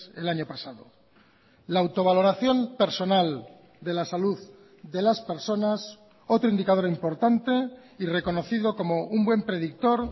el año pasado la autovaloración personal de la salud de las personas otro indicador importante y reconocido como un buen predictor